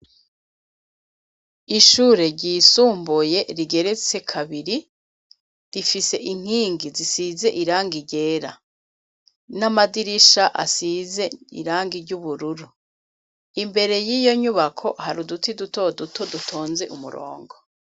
Ishure ryisumbuye, rigeretse kabiri, rifise inkingi zisize irangi ryera, n'amadirisha asize irangi ry'ubururu, imbere y'iyo nyubako, hari uduti duto duto, dutonze umurongo.